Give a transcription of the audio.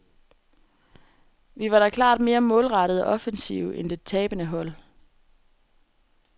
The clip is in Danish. Vi var da klart mere målrettede og offensive end det tabende hold.